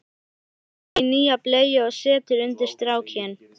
Hann teygir sig í nýja bleyju og setur undir strákinn.